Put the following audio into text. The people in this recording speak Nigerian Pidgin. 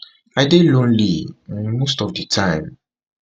i dey lonely um most of di time